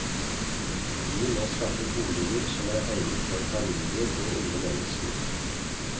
Vi må skaffe boliger som er egnet for familier og unge mennesker.